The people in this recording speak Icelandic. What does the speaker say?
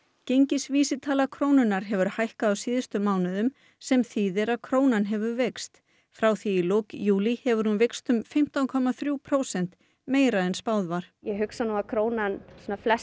gengisvísitala krónunnar hefur hækkað á síðustu mánuðum sem þýðir að krónan hefur veikst frá því í lok júlí hefur hún veikst um fimmtán komma þrú prósent meira en spáð var ég hugsa nú að krónan að flestum